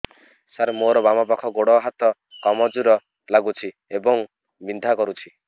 ସାର ମୋର ବାମ ପାଖ ଗୋଡ ହାତ କମଜୁର ଲାଗୁଛି ଏବଂ ବିନ୍ଧା କରୁଛି